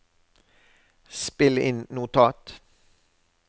spill inn notat